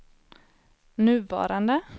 nuvarande